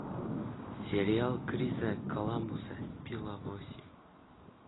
сериал криса коламбуса пила восемь